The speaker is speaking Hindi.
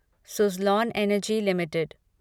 Suzlon energy limited